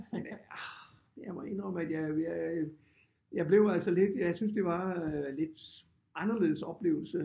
Men øh jeg må indrømme at jeg jeg blev altså lidt jeg syntes det var lidt anderledes oplevelse